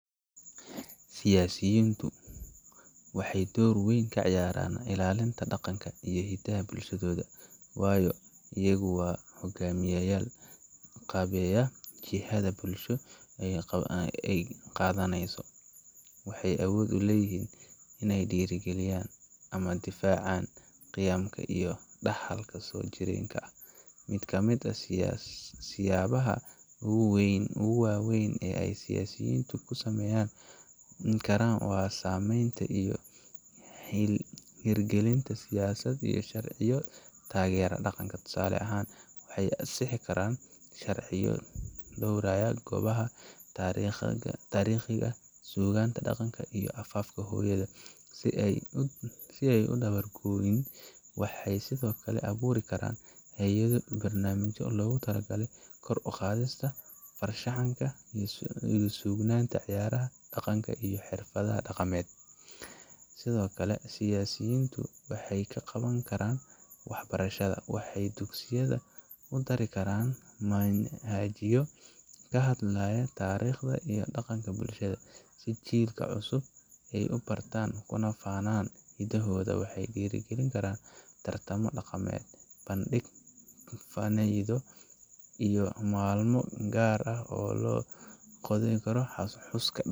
Siyaasiyiintu waxay door weyn ka ciyaaraan ilaalinta dhaqanka iyo hiddaha bulshadooda, waayo iyagu waa hogaamiyeyaal qaabeeya jihada bulsho ay qaadanayso, waxayna awood u leeyihiin in ay dhiirrigeliyaan ama difaacaan qiyamka iyo dhaxalka soo jireenka ah. Mid ka mid ah siyaabaha ugu waaweyn ee ay siyaasiyiintu tan ku samayn karaan waa sameynta iyo hirgelinta siyaasad iyo sharciyo taageeraya dhaqanka. Tusaale ahaan, waxay ansixin karaan sharciyo dhowraaya goobaha taariikhiga ah, suugaanta dhaqanka, iyo afafka hooyo, si aysan u dabar go’in. Waxay sidoo kale abuuri karaan hay’ado iyo barnaamijyo loogu talagalay kor u qaadista farshaxanka, suugaanta, ciyaaraha dhaqanka iyo xafladaha dhaqameed. Sidoo kale, siyaasiyiintu waxay wax ka qaban karaan waxbarashada waxay dugsiyada ku dari karaan manhajyo ka hadlaya taariikhda iyo dhaqanka bulshada, si jiilasha cusub ay u bartaan kuna faanaan hiddahooda. Waxay dhiirrigelin karaan tartanno dhaqameed, bandhig faneedyo, iyo maalmo gaar ah oo loo qoondeeyo xuska.